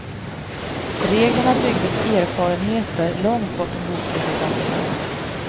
Reglerna byggde på erfarenheter långt bortom boktryckarkonsten.